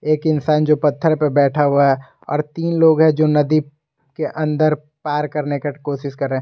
एक इंसान जो पत्थर पे बैठा हुआ है और तीन लोग हैं जो नदी के अंदर पार करने का कोशिश कर रहे।